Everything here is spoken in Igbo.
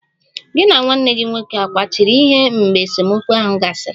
Gị na nwanne gị nwoke akwachiri ihe mgbe esemokwu ahụ gasịrị?